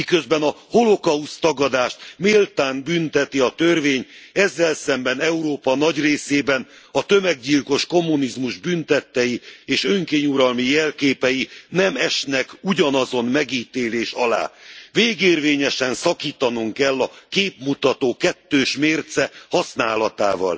Miközben a holokauszttagadást méltán bünteti a törvény, ezzel szemben Európa nagy részében a tömeggyilkos kommunizmus bűntettei és önkényuralmi jelképei nem esnek ugyanazon megítélés alá. Végérvényesen szakítanunk kell a képmutató kettős mérce használatával!